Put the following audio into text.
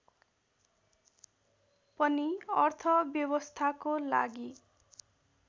पनि अर्थव्यवस्थाको लागि